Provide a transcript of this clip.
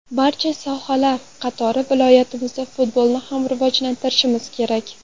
Barcha sohalar qatori viloyatimizda futbolni ham rivojlantirishimiz kerak.